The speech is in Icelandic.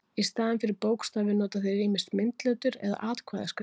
Í staðinn fyrir bókstafi nota þeir ýmist myndletur eða atkvæðaskrift.